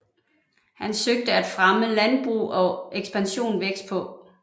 Han søgte at fremme landbrug og ekspansion vestpå